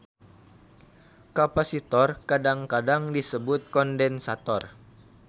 Kapasitor kadang-kadang disebut kondensator.